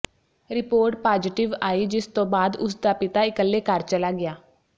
report positive ਆਈ ਜਿਸ ਤੋਂ ਬਾਅਦ ਉਸ ਦਾ ਪਿਤਾ ਇਕੱਲੇ ਘਰ ਚਲਾ ਗਿਆ